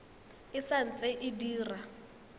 e sa ntse e dira